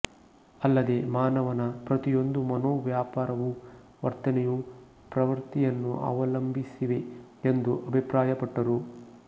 ಅಲ್ಲದೆ ಮಾನವನ ಪ್ರತಿಯೊಂದು ಮನೋವ್ಯಾಪಾರವೂ ವರ್ತನೆಯೂ ಪ್ರವೃತ್ತಿಯನ್ನು ಅವಲಂಬಿಸಿವೆ ಎಂದು ಅಭಿಪ್ರಾಯಪಟ್ಟರು